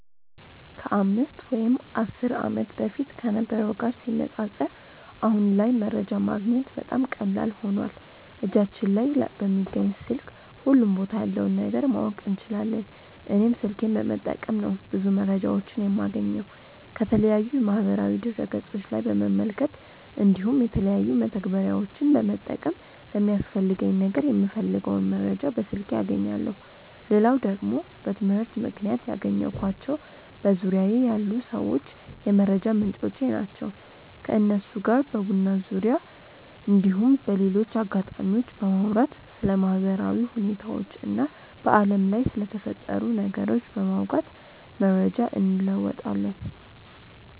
ከ 5 ወይም 10 ዓመት በፊት ከነበረው ጋር ሲነጻጸር አሁን ላይ መረጃ ማግኘት በጣም ቀላል ሆኖዋል እጃችን ላይ በሚገኝ ስልክ ሁሉም ቦታ ያለውን ነገር ማወቅ እንችላለን። እኔም ስልኬን በመጠቀም ነው ብዙ መረጃዎችን የማገኘው። ከተለያዩ የማህበራዊ ድረ ገፆች ላይ በመመልከት እንዲሁም የተለያዩ መተግበሪያዎችን በመጠቀም ለሚያስፈልገኝ ነገር የምፈልገውን መረጃ በስልኬ አገኛለው። ሌላው ደግሞ በትምህርት ምክንያት ያገኘኳቸው በዙርያዬ ያሉ ሰዎች የመረጃ ምንጮቼ ናቸው። ከነሱ ጋር በቡና ዙርያ እንዲሁም በሌሎች አጋጣሚዎች በማውራት ስለ ማህበራዊ ሁኔታዎች እና በአለም ላይ ስለተፈጠሩ ነገሮች በማውጋት መረጃ እንለወጣለን።